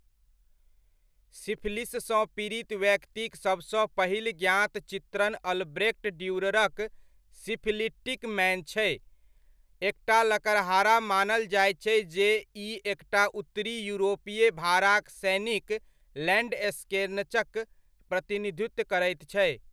सिफिलिससँ पीड़ित व्यक्तिक सबसँ पहिल ज्ञात चित्रण अल्ब्रेक्ट ड्यूररक सिफिलिटिक मैन छै, एकटा लकड़हारा मानल जाइत छै जे ई एकटा उत्तरी यूरोपीय भाड़ाक सैनिक लैंडस्कनेचक प्रतिनिधित्व करैत छै।